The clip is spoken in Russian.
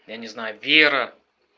я не знаю вера